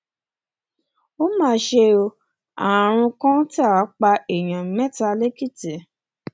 ó mà ṣe ó àrùn kọńtà pa èèyàn mẹta lẹkìtì